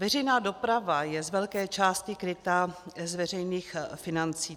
Veřejná doprava je z velké části kryta z veřejných financí.